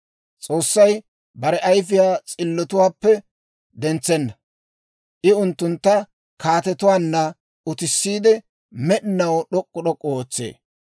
S'oossay bare ayifiyaa s'illotuwaappe dentsenna. I unttuntta kaatetuwaanna utissiide, med'inaw d'ok'k'u d'ok'k'u ootsee.